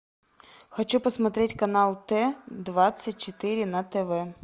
хочу посмотреть канал т двадцать четыре на тв